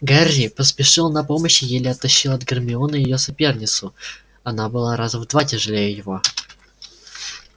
гарри поспешил на помощь и еле оттащил от гермионы её соперницу она была раза в два тяжелее его